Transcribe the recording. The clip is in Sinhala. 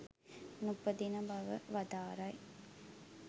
නූපදින බව වදාරයි.